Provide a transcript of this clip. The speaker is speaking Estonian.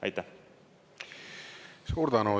Suur tänu!